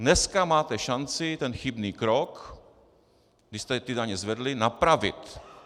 Dneska máte šanci ten chybný krok, kdy jste ty daně zvedli, napravit.